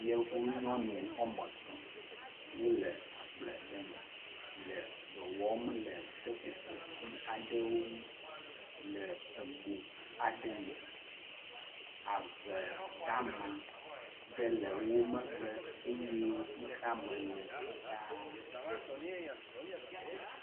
Yevunyɔnu woame etɔ̃ wole agble aɖe me le dɔ wɔm le seƒoƒoti aɖewo ŋu le ego aɖe me. Ave dama ɖe le wo megbe eye xixea me le fitaa.